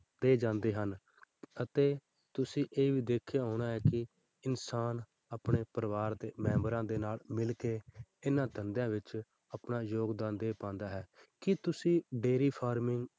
ਤੇ ਜਾਂਦੇ ਹਨ ਅਤੇ ਤੁਸੀਂ ਇਹ ਵੀ ਦੇਖਿਆ ਹੋਣਾ ਹੈ ਕਿ ਇਨਸਾਨ ਆਪਣੇ ਪਰਿਵਾਰ ਦੇ ਮੈਂਬਰਾਂ ਦੇ ਨਾਲ ਮਿਲ ਕੇ ਇੰਨਾ ਧੰਦਿਆਂ ਵਿੱਚ ਆਪਣਾ ਯੋਗਦਾਨ ਦੇ ਪਾਉਂਦਾ ਹੈ ਕੀ ਤੁਸੀਂ dairy farming